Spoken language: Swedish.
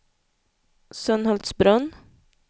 Sunhultsbrunn